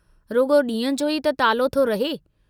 रुगो ॾींह जो ई त तालो थो रहे।